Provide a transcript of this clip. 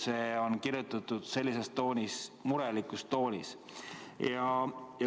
See on kirjutatud sellises murelikus toonis.